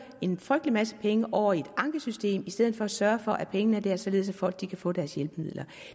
en frygtelig masse penge over i et ankesystem i stedet for at man sørger for at pengene er der således at folk kan få deres hjælpemidler